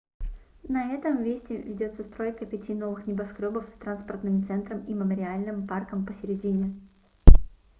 на этом месте ведется стройка пяти новых небоскрёбов с транспортным центром и мемориальным парком посередине